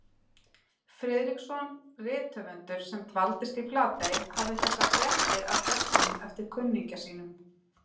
Friðriksson rithöfundur, sem dvaldist í Flatey, hafði þessar fréttir af gestunum eftir kunningja sínum